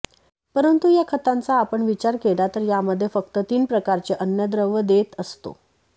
परंतु या खतांचा आपण विचार केला तर यामध्ये फक्त तीन प्रकारचे अन्नद्रव्य देत असतो